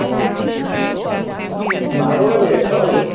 বার করে দিলে সবাইকে?